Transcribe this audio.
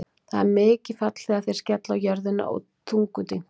Það er mikið fall þegar þeir skella á jörðina og þungur dynkur.